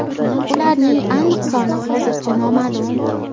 Ularning aniq soni hozircha noma’lum.